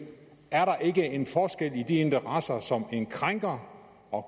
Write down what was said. er der ikke en forskel på de interesser som en krænker og